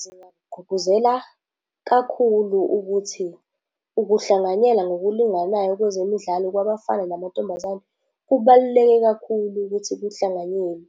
Zingagqugquzela kakhulu ukuthi ukuhlanganyela ngokulinganayo kwezemidlalo kwabafana namantombazane kubaluleke kakhulu ukuthi kuhlanganyelwe.